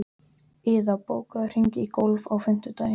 Iða, bókaðu hring í golf á fimmtudaginn.